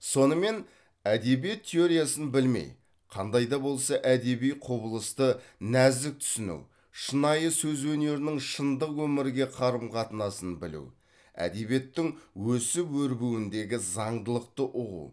сонымен әдебиет теориясын білмей қандай да болса әдеби құбылысты нәзік түсіну шынайы сөз өнерінің шындық өмірге қарым қатынасын білу әдебиеттің өсіп өрбуіндегі заңдылықты ұғу